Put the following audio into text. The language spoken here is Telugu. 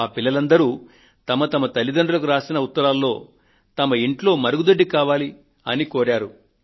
ఈ పిల్లలందరూ వారి వారి తల్లితండ్రులకు రాసిన ఉత్తరాలలో వారి ఇంటిలో మరుగుదొడ్డి కావాలి అని కోరారు